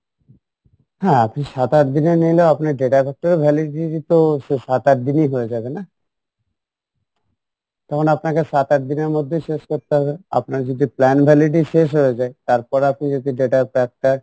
হ্যাঁ আপনি সাত আটদিনেরও নিলে আপনি data pack টারও validity তো সে সাত আট দিনই হয়ে যাবে না তখন আপনাকে সাত আটদিনের মধ্যেই শেষ করতে হবে আপনার যদি plan validity শেষ হয়ে যাই তারপর আপনি যদি data pack টা